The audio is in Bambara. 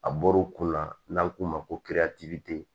A bɔr'u kun na n'an k'o ma ko